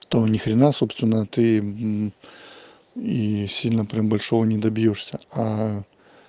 то ни хрена собственно ты и сильно прям большого не добьёшься а